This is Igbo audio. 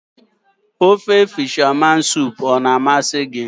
Ofe ndị na akọ azụ a-na amasị gị?